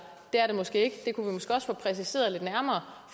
det er det måske ikke det kunne vi måske også få præciseret lidt nærmere